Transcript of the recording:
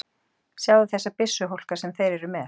Sjáðu þessa byssuhólka sem þeir eru með!